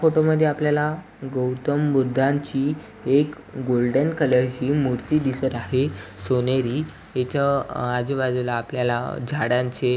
Photo मध्ये आपल्याला गौतम बुद्धांची एक गोल्डन कलरची मूर्ती दिसत आहे. सोनेरी इथं आजूबाजूला आपल्याला झाडांचे --